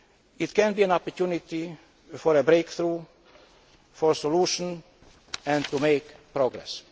It can be an opportunity for a breakthrough, for a solution and to make progress.